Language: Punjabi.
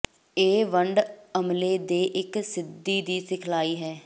ਇਹ ਵੰਡ ਅਮਲੇ ਦੇ ਇੱਕ ਸਿੱਧੀ ਦੀ ਸਿਖਲਾਈ ਹੈ